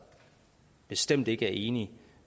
bestemt ikke er enige